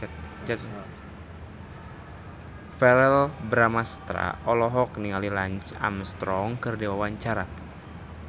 Verrell Bramastra olohok ningali Lance Armstrong keur diwawancara